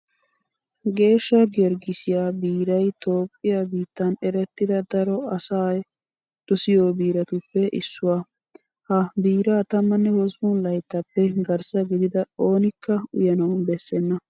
Geeshsha Giyorgissiyaa biiray Toophphiyaa biittan erettida daro asay dosiyo biiratuppe issuwaa. Ha biiraa tammanne hosppun layttaappe garssa gidida oonikka uyanawu bessenna.